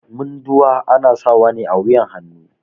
Munduwa ana sawa ne a wuƴan hannu.